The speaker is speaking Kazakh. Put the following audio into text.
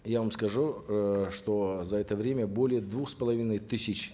я вам скажу э что за это время более двух с половиной тысяч